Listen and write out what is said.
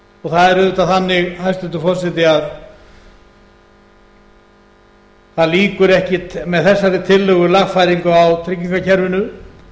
skattgreiðslur það er auðvitað þannig hæstvirtur forseti að það lýkur ekkert með þessari tillögu lagfæringu á tryggingakerfinu